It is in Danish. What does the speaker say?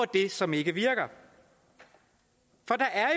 det som ikke virker for der er